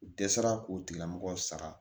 U dɛsɛra k'o tigilamɔgɔ sara